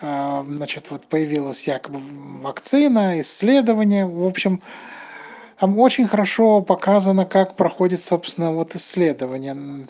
значит вот появилась вакцина исследования в общем очень хорошо показано как проходит собственно вот исследования